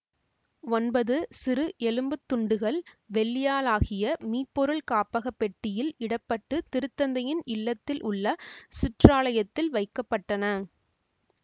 ஒன்பது சிறு எலும்புத் துண்டுகள் வெள்ளியாலாகிய மீபொருள் காப்பகப் பெட்டியில் இடப்பட்டு திருத்தந்தையின் இல்லத்தில் உள்ள சிற்றாலயத்தில் வைக்க பட்டன